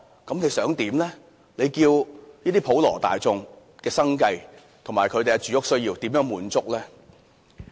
怎樣令普羅大眾的生計和住屋需要得到滿足呢？